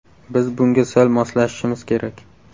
Biz bunga sal moslashishimiz kerak.